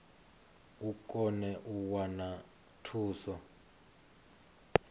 i kone u wana thuso